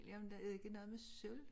Jamen det ikke noget med sølv?